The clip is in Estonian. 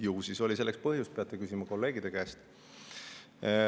Ju siis oli selleks põhjust, peate küsima kolleegide käest.